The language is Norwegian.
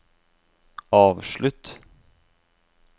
avslutt